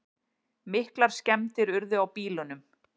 Miklar skemmdir urðu á bílunum